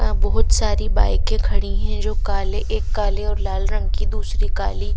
बहुत सारी बाइकें खड़ी हैं जो काले एक काले और लाल रंग की दूसरी काली--